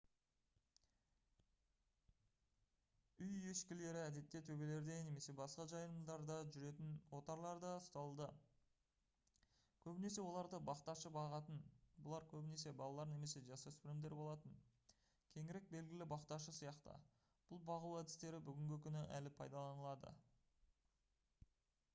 үй ешкілері әдетте төбелерде немесе басқа жайылымдарда жүретін отарларда ұсталды көбінесе оларды бақташы бағатын бұлар көбінесе балалар немесе жасөспірімдер болатын кеңірек белгілі бақташы сияқты бұл бағу әдістері бүгінгі күні әлі пайдаланылады